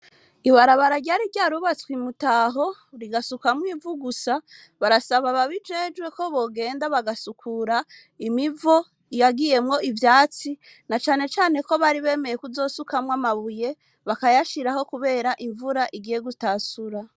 Ibarabara ryari ryasubitswe i Mutaho, rigasukwamwo ivu gusa, barasaba ababijejwe ko bogenda bagasukura imivo yagiyemwo ivyatsi, na cane cane ko bari bemeye kuzosukamwo amabuye, bakayashiraho kubera imvura igiye gutahura.